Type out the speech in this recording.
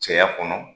Cɛya kɔnɔ